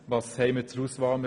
Welche Auswahl haben wir?